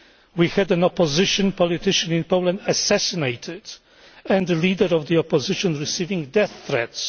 We had an opposition politician in Poland assassinated and the leader of the opposition receiving death threats.